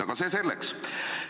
Aga see selleks.